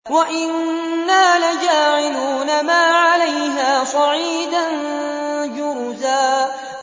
وَإِنَّا لَجَاعِلُونَ مَا عَلَيْهَا صَعِيدًا جُرُزًا